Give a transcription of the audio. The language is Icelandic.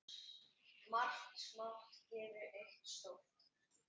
Margt smátt gerir eitt stórt.